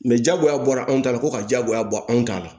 Mɛ jagoya bɔra anw ta la ko ka jagoya bɔ anw ta la